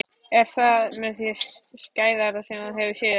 Er það með því skæðara sem þú hefur séð?